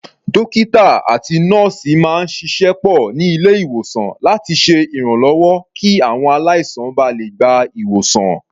Dókítà àti nọ́ọ̀sì máa ń ṣiṣẹ́ pọ̀ ní ilé-ìwòsàn láti ṣe ìrànlọ́wọ́ kí àwọn aláìsàn ba lè gba ìwòsàn.